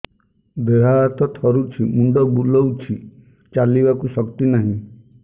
ଦେହ ହାତ ଥରୁଛି ମୁଣ୍ଡ ବୁଲଉଛି ଚାଲିବାକୁ ଶକ୍ତି ନାହିଁ